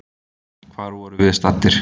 Hvar vorum við staddir?